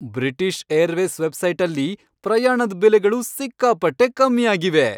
British Airways ವೆಬ್ಸೈಟಲ್ಲಿ ಪ್ರಯಾಣದ್ ಬೆಲೆಗಳು ಸಿಕ್ಕಾಪಟ್ಟೆ ಕಮ್ಮಿ ಆಗಿವೆ!